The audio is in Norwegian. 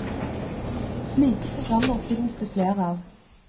Slike programmer finnes det flere av.